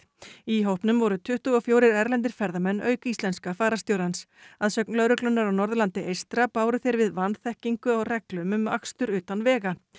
í hópnum voru tuttugu og fjórir erlendir ferðamenn auk íslenska fararstjórans að sögn lögreglunnar á Norðurlandi eystra báru þeir við vanþekkingu á reglum um akstur utan vega